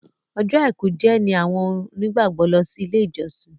Ọjọ́ aìkú jẹ ní awọn onígbàgbọ lọ si ile ijọsin.